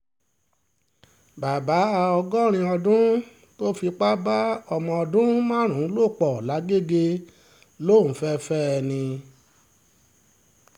bàbá ọgọ́rin ọdún tó fipá bá ọmọ ọdún márùn-ún lò pọ̀ làgẹ́gẹ́ lòún fẹ́ẹ́ fẹ́ ẹ ni